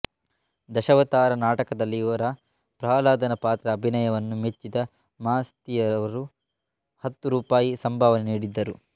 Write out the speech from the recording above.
ದಶಾವತಾರ ನಾಟಕದಲ್ಲಿ ಇವರ ಪ್ರಹ್ಲಾದನ ಪಾತ್ರದ ಅಭಿನಯವನ್ನು ಮೆಚ್ಚಿದ ಮಾಸ್ತಿಯವರು ಹತ್ತು ರೂಪಾಯಿ ಸಂಭಾವನೆ ನೀಡಿದ್ದರು